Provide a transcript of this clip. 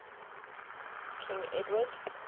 king edward